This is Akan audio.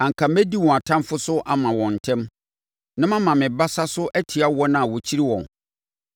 anka mɛdi wɔn atamfoɔ so ama wɔn ntɛm na mama me basa so atia wɔn a wɔkyiri wɔn!